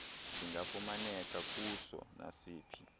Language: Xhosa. singafumaneka kuso nasiphi